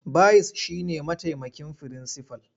Bayis shi ne mataimakin firinsifal.